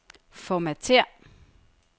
Formatér.